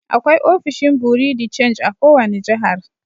Akwai ofishin bureau de change a' kowani jihar.